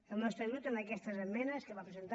el nostre grup amb aquestes esmenes que va presentar